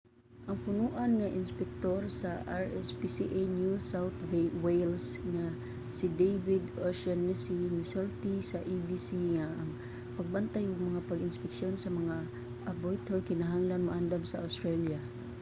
ang punoan nga inspektor sa rspca new south wales nga si david o'shannessy misulti sa abc nga ang pagbantay ug mga pag-inspeksyon sa mga abattoir kinahanglan maandan sa australia